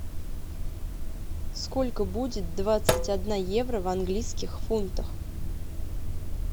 сколько будет двадцать одна евро в английских фунтах